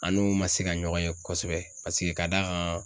An n'u ma se ka ɲɔgɔn ye kosɛbɛ paseke ka d'a kan